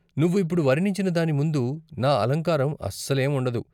నువ్వు ఇప్పుడు వర్ణించిన దాని ముందు నా అలంకారం అసలేం ఉండదు.